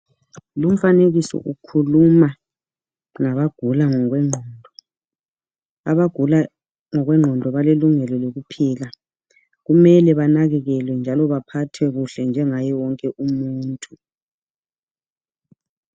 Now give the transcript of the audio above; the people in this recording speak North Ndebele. Lomfanekiso ukhuluma ngabagula ngokwenqondo. Abagula ngokwenqondo balelungelo lokuphila. Kumele banakekelwe njalo baphathwe kuhle njengaye wonke umuntu.